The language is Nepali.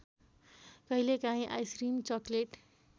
कहिलेकाहीँ आइसक्रिम चकलेट